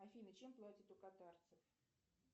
афина чем платят у катарцев